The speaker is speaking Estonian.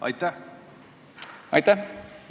Aitäh!